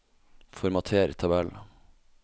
Formater tabell